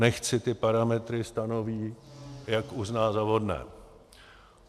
Nechť si ty parametry stanoví, jak uzná za vhodné.